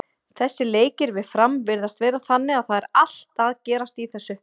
Þessir leikir við Fram virðast vera þannig að það er allt að gerast í þessu.